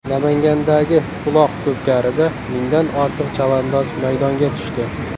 Namangandagi uloq-ko‘pkarida mingdan ortiq chavandoz maydonga tushdi .